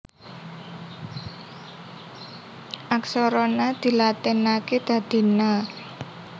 Aksara Na dilatinaké dadi Na